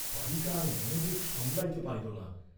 বালিকা আর মনোবেগ সামলাইতে পারিল না।